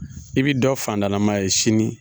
I bi dɔ fandalama ye sini.